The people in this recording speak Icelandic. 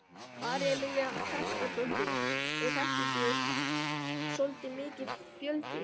María Lilja Þrastardóttir: Er þetta ekki svolítið mikill fjöldi?